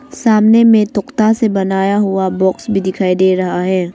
सामने में तोख़ता से बनाया हुआ बॉक्स भी दिखाई दे रहा है।